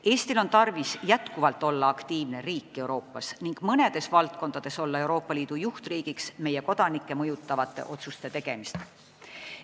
Eestil on tarvis edaspidigi olla aktiivne riik Euroopas ning mõnes valdkonnas olla Euroopa Liidu juhtriik meiegi kodanikke mõjutavate otsuste tegemisel.